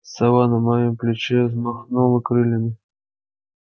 сова на моем плече взмахнула крыльями